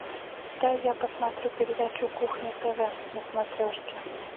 дай я посмотрю передачу кухня тв на смотрешке